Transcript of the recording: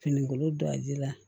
Finikolo do a ji la